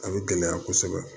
A bɛ gɛlɛya kosɛbɛ